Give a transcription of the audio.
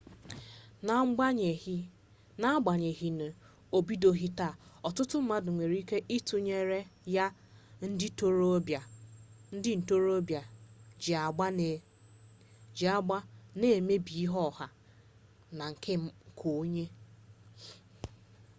n'agbanyeghị na obidoghị taa ọtụtụ mmadụ nwere ike itunyenyere ya ndị ntorobịa ji agba na-emebi ihe ọha na nke onye